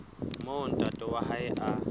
moo ntate wa hae a